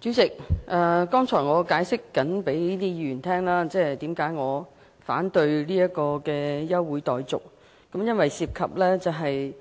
主席，剛才我正向各位議員解釋，我為何反對休會待續議案，因為當中涉及